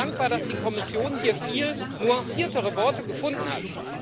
Ich bin dankbar, dass die Kommission hier viel nuanciertere Worte gefunden hat.